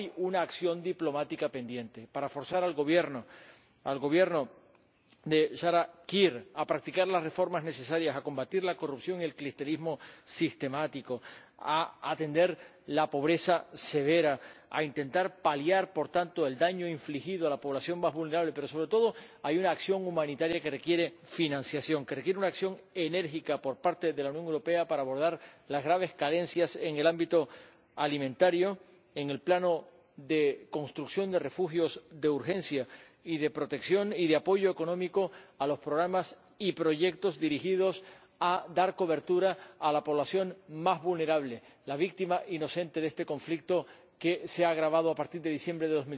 Pero hay una acción diplomática pendiente para forzar al Gobierno de Salva Kiir a practicar las reformas necesarias, a combatir la corrupción y el clientelismo sistemático, a atender la pobreza severa, a intentar paliar por tanto el daño infligido a la población más vulnerable. Pero, sobre todo, hay una acción humanitaria que requiere financiación, que requiere una acción enérgica por parte de la Unión Europea para abordar las graves carencias en el ámbito alimentario, en el plano de construcción de refugios de urgencia y de protección, y de apoyo económico a los programas y proyectos dirigidos a dar cobertura a la población más vulnerable, las víctimas inocentes de este conflicto que se ha agravado a partir de diciembre de